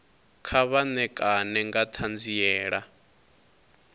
kha vha ṋekane nga ṱhanziela